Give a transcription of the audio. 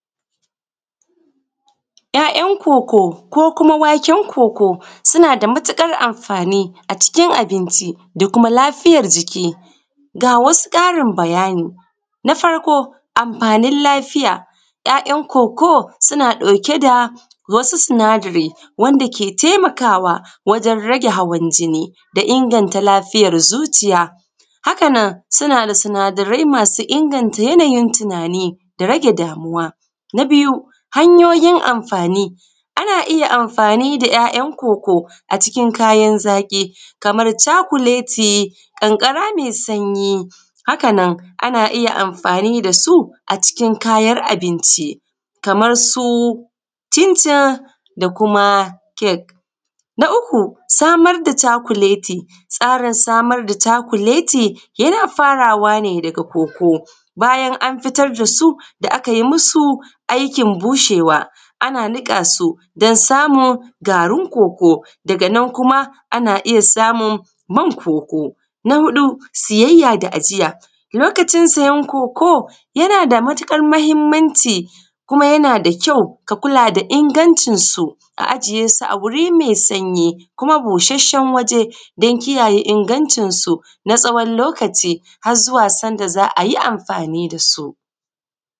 ‘ya’yan coco ko kuma waken coco suna da matuƙar amfani a cikin abinci da kuma lafiyar jiki ga wasu ƙarin bayani na farko amfanin lafiya ‘ya’yan coco suna ɗauke da wasu sinadari wanda ke taimakawa wajen rage hawan jini da inganta lafiyar zuciya haka nan suna da sinadarai masu inganta yanayin tunani da rage damuwa na biyu hanyoyin amfani ana iya amfani da ‘ya’yan coco a cikin kayan zaƙi kamar cakuleti ƙanƙara mai sanyi haka nan ana iya amfani da su a cikin kayan abinci kamar su cincin da kuma kek na uku samar da cakuleti tsarin samar da cakuleti yana farawa ne daga coco bayan an fitar da su da aka yi musu aikin bushewa ana niƙa su don samun garin coco daga nan kuma ana iya samun man coco na huɗu siyayya da ajiya lokacin siyar coco yana da matuƙar muhimmanci kuma yana da kyau ka kula da ingancin su a ajiye su a guri mai sanyi kuma bushashshen waje don kiyaye ingancin su na tsawon lokaci har zuwa sanda za a yi amfani da su